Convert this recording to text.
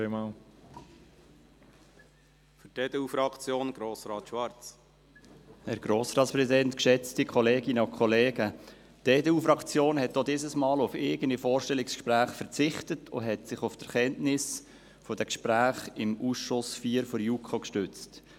Die EDU-Fraktion hat auch diesmal auf eigene Vorstellungsgespräche verzichtet und sich auf die Erkenntnisse der Gespräche im Ausschuss IV der JuKo gestützt.